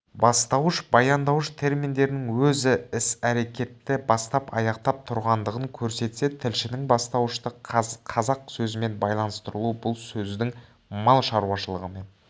бастауыш баяндауыш терминдерінің өзі іс-әрекетті бастап аяқтап тұрғандығын көрсетсе тілшінің бастауышты қазық сөзімен байланыстыруы бұл сөздің мал шаруашылығымен